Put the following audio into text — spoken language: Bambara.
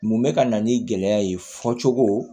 Mun bɛ ka na ni gɛlɛya ye fɔ cogo